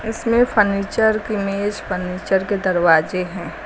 इसमें फर्नीचर की मेज फर्नीचर के दरवाजे हैं।